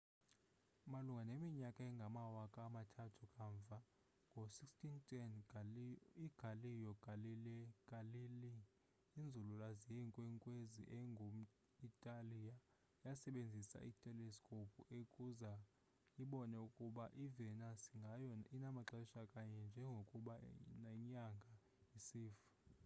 malunga neminyaka engamawaka amathathu kamva ngo-1610 igalileo galilei inzululwazi yeenkwenkwenzi engum-itali yasebenzisa iteleskophu ukuze ibone ukuba i-venus nayo inamaxesha kanye njengokuba nenyanga isifa